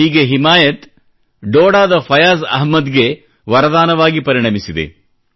ಹೀಗೆ ಹಿಮಾಯತ್ ಡೋಡಾದ ಫಯಾಜ್ ಅಹ್ಮದ್ಗೆ ವರದಾನವಾಗಿ ಪರಿಣಮಿಸಿದೆ